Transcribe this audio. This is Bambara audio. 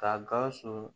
Ka gawusu